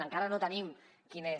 encara no tenim quin és